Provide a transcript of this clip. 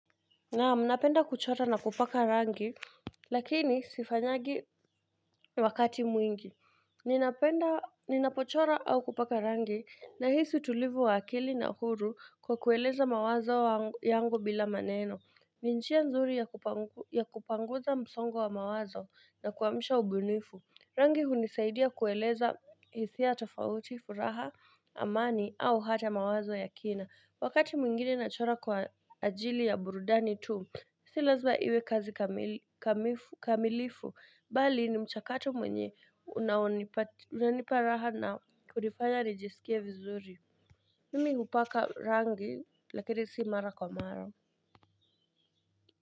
Naam, napenda kuchora na kupaka rangi, lakini sifanyagi wakati mwingi ninapenda Ninapochora au kupaka rangi, nahisi utulivu wa akili na huru kwa kueleza mawazo angu yangu bila maneno ni njia nzuri ya kupa ya kupanguza msongo wa mawazo na kuamsha ubunifu Rangi hunisaidia kueleza hisia tofauti, furaha, amani au hata mawazo ya kina Wakati mwingine nachora kwa ajili ya burudani tu Silazma iwe kazi kamili kamifu kamilifu Bali ni mchakato mwenye unaonipat unaniparaha na kunifanya nijiskie vizuri Mimi hupaka rangi lakini si mara kwa mara.